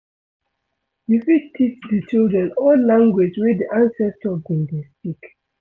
you fit teach di children old language wey di ancestor been dey speak